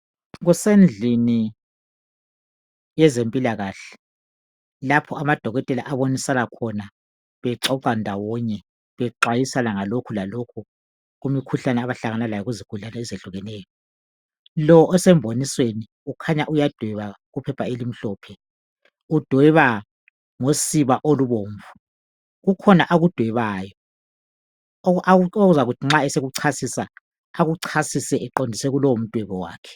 Kusendlini yezempilakahle lapho amadokotela abonisana khona bexoxa ndawonye bexwayisana ngalokhu lalokhu kumikhuhlane abahlangana layo kuzugulani ezehlukeneyo. Lo osemboniweni ukhanya uyadweba ephepheni elimhlophe, udweba ngosiba olubomvu. Kukhona akudwebayo okuzakuthi nxa esekuchasisa, echasise eqondise kulowo mdwebo wakhe.